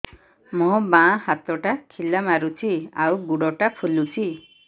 ମୋ ବାଆଁ ହାତଟା ଖିଲା ମାରୁଚି ଆଉ ଗୁଡ଼ ଟା ଫୁଲୁଚି